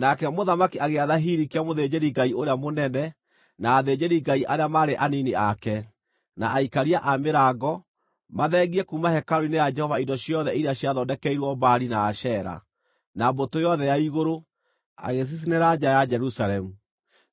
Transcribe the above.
Nake mũthamaki agĩatha Hilikia mũthĩnjĩri-Ngai ũrĩa mũnene, na athĩnjĩri-Ngai arĩa maarĩ anini ake, na aikaria a mĩrango, mathengie kuuma hekarũ-inĩ ya Jehova indo ciothe iria ciathondekeirwo Baali na Ashera, na mbũtũ yothe ya igũrũ, agĩcicinĩra nja ya Jerusalemu